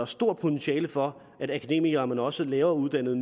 stort potentiale for at akademikere men også nyuddannede